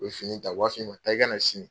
O ye fini ta waatii ma taa i ka sini